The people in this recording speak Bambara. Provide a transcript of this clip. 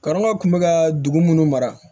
Karamɔgɔ kun bɛ ka dugu minnu mara